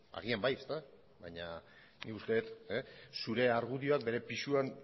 agian bai ezta baina nik uste dut zure argudioak bere